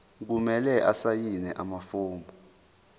kumele asayine amafomu